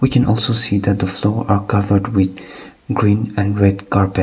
we can also see that the floor are covered with green and red carpet.